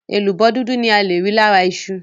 Èlùbọ́ dúdú ni ale rí lára iṣu.